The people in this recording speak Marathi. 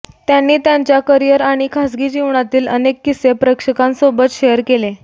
त्यांनी त्यांच्या करिअर आणि खासगी जीवनातील अनेक किस्से प्रेक्षकांसोबत शेअर केले